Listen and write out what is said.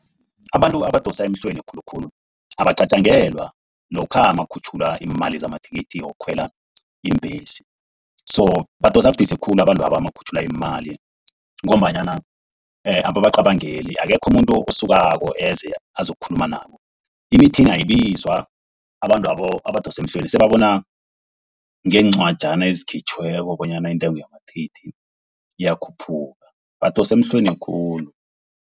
Abantu abadosa emhlweni khulukhulu abacatjangelwa lokha makukhutjhulwa imali zamathikithi wokukhwela iimbhesi. So badosa budisi khulu abantwaba nakukhutjhulwa iimali ngombanyana ababacabangeli akekho umuntu osukako eze azokukhuluma nabo. Imithini ayibizwa abantwabo abadosa emhlweni sebabona ngencwajani ezikhitjhweko, bonyana intengo yamathikithi iyakhuphuka. Badosa emhlweni khulu.